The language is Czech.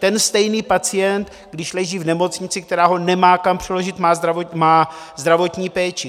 Ten stejný pacient, když leží v nemocnici, která ho nemá kam přeložit, má zdravotní péči.